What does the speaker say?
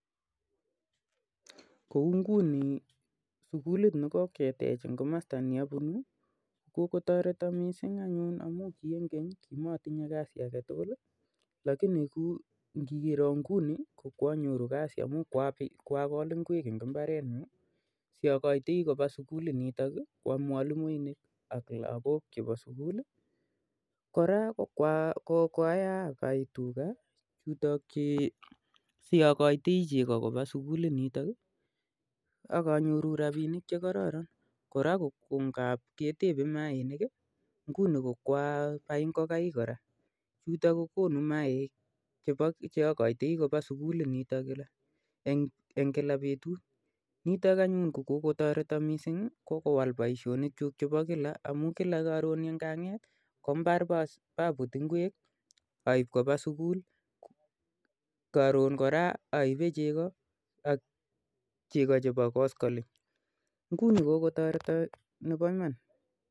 Kouu ngunii sukulit nekoketech eng komasta ne apunuu kokotoreto Missing amuu ki eng keny ko kimotinye kazi age tukul ko eng ingunii kokonoo kazit amuu kwakol ngwek chotok cheaibei kopaa sukulit nitok